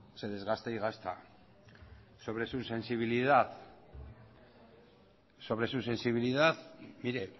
se desgasta y gasta sobre su sensibilidad mire